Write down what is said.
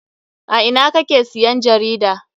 A ina kake siyan jarida?